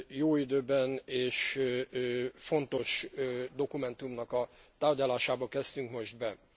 Jó időben, és fontos dokumentumnak a tárgyalásába kezdtünk most bele.